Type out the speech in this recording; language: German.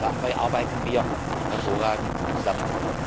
Dabei arbeiten wir hervorragend zusammen.